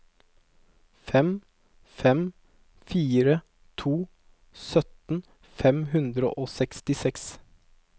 fem fem fire to syttien fem hundre og sekstiseks